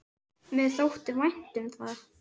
Mér þótti vænt um það.